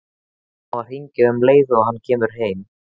Hann á að hringja um leið og hann kemur heim.